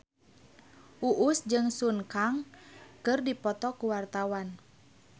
Uus jeung Sun Kang keur dipoto ku wartawan